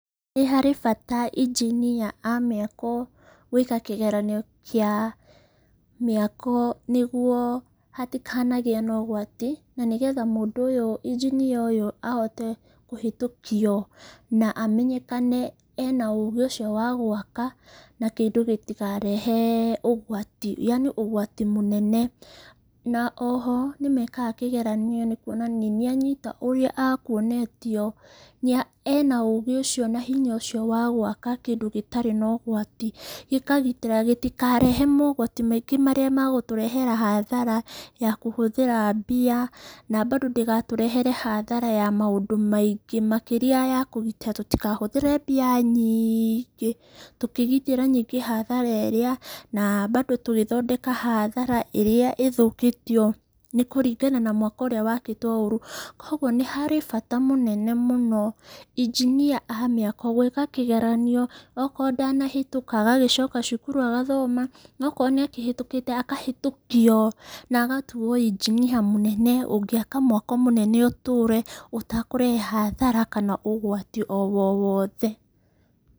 Nĩ harĩ bata injinia a mĩako gũĩka kĩgeranio kĩa mĩako nĩguo hatikanagĩe na ũgwati, na nĩgetha mũndũ ũyũ, injinia ũyũ ahote kũhĩtukio na amenyekane ena ũũgĩ ũcio wa gwaka, na kĩndũ gĩtikarehe ũgwati yani ũgwati mũnene. Na oho nĩ mekaga kĩgeranio nĩ kuonania nĩ anyita ũrĩa akuonetio, ena ũũgĩ ũcio na hinya ũcio wa gũaka kĩndũ gĩtarĩ na ũgwati. Gĩkagitĩra gĩtikarehe mogwati maingĩ marĩa magũtũrehera hathara ya kũhũthĩra mbia. Na bado ndĩgatũrehere hathara ya maũndũ maingĩ, makĩria ya kũgitĩra tũtikahũthĩre mbia nyingĩ tũkĩgitĩra ningĩ hathara ĩrĩa. Na bado tũgĩthondeka hathara ĩrĩa ĩthũkĩtio nĩkũringana na mwako ũrĩa wakitwo ũũru. Koguo nĩ harĩ bata mũnene mũno injinia a mĩako gũĩka kĩgeranio, okorwo ndanahĩtũka, agagĩcoka cukuru agathoma. Okorwo nĩ ahĩtũkĩte agakĩhĩtũkio, na agatuo injinia mũnene ũngĩaka mwako mũnene ũtũũre ũtakũrehe hathara kana ũgwati o wowothe.